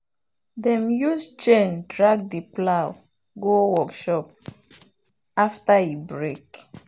dem use chain drag the plow go workshop after e break.